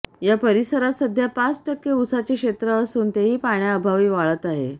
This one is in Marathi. या परिसरात सध्या पाच टक्के उसाचे क्षेत्र असून तेही पाण्याअभावी वाळत आहे